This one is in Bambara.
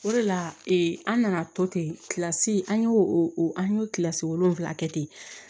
O de la an nana to ten an y'o an y'o kilasi wolonwula kɛ ten